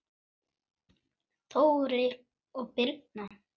Þórir og Birna.